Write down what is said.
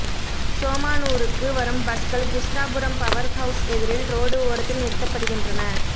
சோமனுாருக்கு வரும் பஸ்கள் Krishnapuram power house எதிரில் ரோடு ஓரத்தில் நிறுத்தப்படுகின்றன